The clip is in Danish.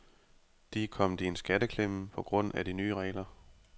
De er kommet i en skatteklemme på grund af de nye regler.